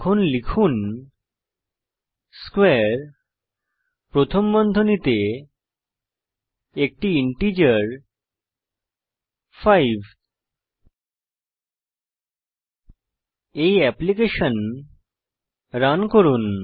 এখন লিখুন স্কোয়ারে প্রথম বন্ধনীতে একটি ইন্টিজার 5 এই অ্যাপ্লিকেশন রান করুন